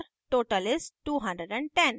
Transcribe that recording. total is: 210